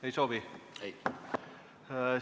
Ei soovi?